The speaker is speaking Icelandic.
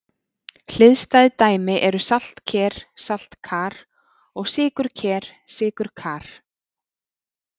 Hliðstæð dæmi eru saltker-saltkar og sykurker-sykurkar.